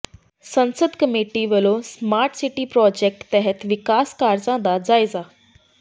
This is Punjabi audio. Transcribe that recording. ਸੰਸਦ ਮੈਂਬਰ ਵਲੋਂ ਸਮਾਰਟ ਸਿਟੀ ਪ੍ਰੋਜੈਕਟ ਤਹਿਤ ਵਿਕਾਸ ਕਾਰਜਾਂ ਦਾ ਜਾਇਜ਼ਾ